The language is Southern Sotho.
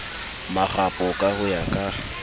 marapo ka ho ya ka